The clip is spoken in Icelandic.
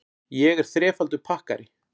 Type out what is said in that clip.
Ég er þrefaldur pakkari.